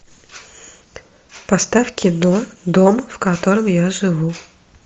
поставь кино дом в котором я живу